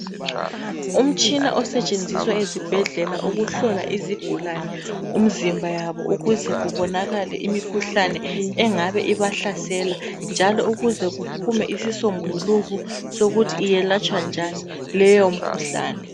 Umtshina osetshenziswa ezibhedlela ukuhlola izigulane umzimba yabo, ukuze kubonakale imkhuhlane engabe ibahlasela njalo ukuze kuphume isisombuluko sokuthi iyelatshwa njani leyomkhuhlane.